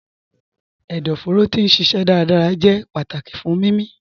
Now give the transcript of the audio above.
Ẹdọfóró ti n ṣiṣẹ dárádárá jẹ̀ pátákì fún mímí.